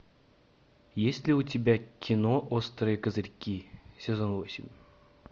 есть ли у тебя кино острые козырьки сезон восемь